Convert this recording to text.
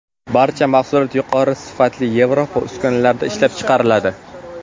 Barcha mahsulot yuqori sifatli Yevropa uskunalarida ishlab chiqariladi.